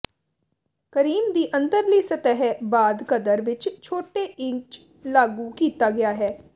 cream ਦੀ ਅੰਦਰਲੀ ਸਤਹ ਬਾਅਦ ਕਦਰ ਵਿੱਚ ਛੋਟੇ ਇੰਚ ਲਾਗੂ ਕੀਤਾ ਗਿਆ ਹੈ